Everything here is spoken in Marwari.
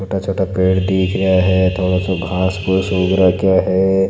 छोटा छोटा पेड़ दिख रहा है थोड़ा सा घास घुस उग रखो है।